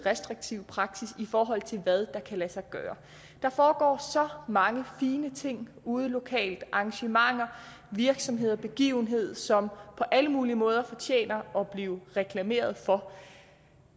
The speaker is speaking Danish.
restriktiv praksis i forhold til hvad der kan lade sig gøre der foregår så mange fine ting ude lokalt arrangementer virksomhed og begivenheder som på alle mulige måder fortjener at blive reklameret for